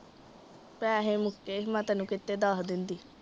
ਪੈਸੇ ਮੁੱਕੇ ਸੀ ਮੈਂ ਤੈਨੂੰ ਕਿੱਥੇ ਦੱਸ ਦੇਂਦੀ।